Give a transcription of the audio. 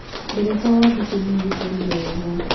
Ndereba wa Biko nĩoĩ gũtwarithia wega.